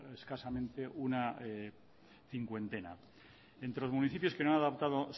escasamente una cincuentena entre los municipios que no han adaptado